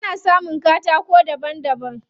Ana samun katako daban daban.